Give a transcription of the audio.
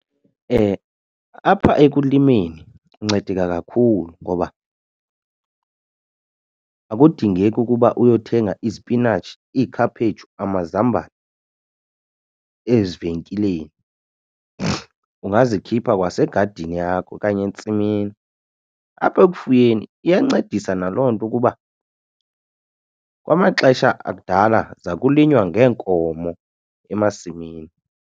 Apha ekulimeni uncedeka kakhulu ngoba akudingeki ukuba uyothenga izipinatshi, iikhaphetshu, amazambane ezivenkileni, ungazikhipha kwasegadini yakho okanye entsimini. Apha ekufuyeni iyancedisa naloo nto ukuba kwamaxesha akudala zakulinywa ngeenkomo emasimini.